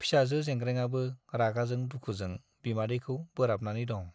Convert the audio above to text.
फिसाजो जेंग्रेंआबो रागाजों दुखुजों बिमादैखौ बोराबनानै दं।